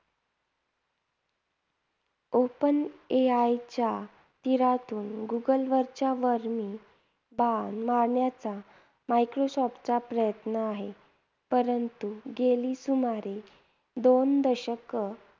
Open AI च्या तिरातून गुगलच्या वर्मी बाण मारण्याचा मायक्रोसॉफ्टचा प्रयत्न आहे. परंतु गेली सुमारे दोन दशक